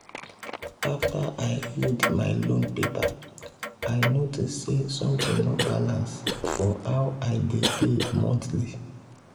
after i read my loan paper i notice say something no balance for how i dey pay monthly.